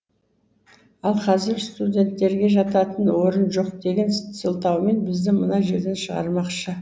ал қазір студенттерге жататын орын жоқ деген сылтаумен бізді мына жерден шығармақшы